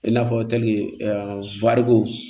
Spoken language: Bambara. I n'a fɔ